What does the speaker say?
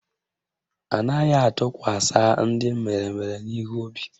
Anaghị atụkwasa ndị meremere n'ihu obi